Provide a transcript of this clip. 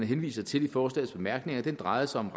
henviser til i forslagets bemærkninger drejer sig om